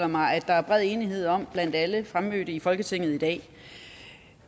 mig at der er bred enighed om blandt alle fremmødte i folketinget i dag